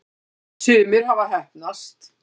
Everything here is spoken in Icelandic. sumir hafa heppnast